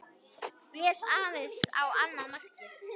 Blés aðeins á annað markið.